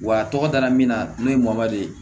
Wa a tɔgɔ dara min na n'o ye ye